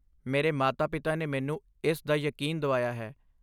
ਮੇਰੇ ਮਾਤਾ ਪਿਤਾ ਨੇ ਮੈਨੂੰ ਇਸ ਦਾ ਯਕੀਨ ਦਵਾਇਆ ਹੈ